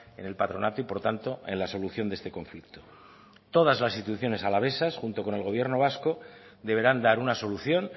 en el patronato y por tanto en la solución de este conflicto todas las instituciones alavesas junto con el gobierno vasco deberán dar una solución